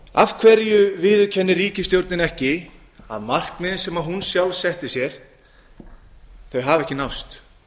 af hverju viðurkennir ríkisstjórnin ekki að markmiðin sem hún sjálf setti sér hafa ekki náðst af